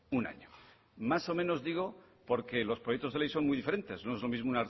un año más o menos digo porque los proyectos de ley son muy diferentes no es lo mismo